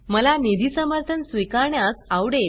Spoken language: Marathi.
मला निधी समर्थन स्वीकारण्यास आवडेल